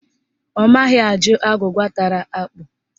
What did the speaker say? Ọ maghị ajụ agwụgwa tara ákpụ̀